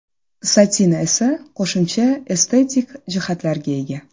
Satin esa qo‘shimcha estetik jihatlarga ega.